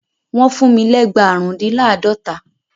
Wọ́n fún mi lẹ́gba àrùndínláàdọ́ta.